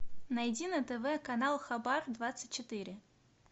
найди на тв канал хабар двадцать четыре